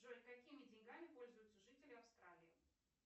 джой какими деньгами пользуются жители австралии